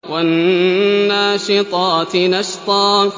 وَالنَّاشِطَاتِ نَشْطًا